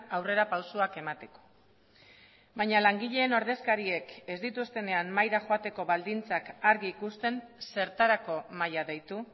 aurrerapausoak emateko baina langileen ordezkariek ez dituztenean mahaira joateko baldintzak argi ikusten zertarako mahaia deitu